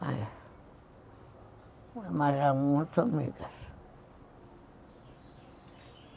Mas são muito amigas.